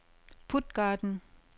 Puttgarden